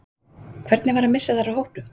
Hvernig var að missa þær úr hópnum?